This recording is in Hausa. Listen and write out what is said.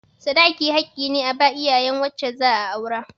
Sadaki haƙƙi ne a ba iyayen wacce za a aura.